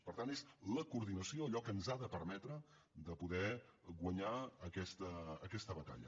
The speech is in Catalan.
per tant és la coordinació allò que ens ha de permetre de poder guanyar aquesta batalla